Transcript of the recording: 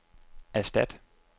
erstat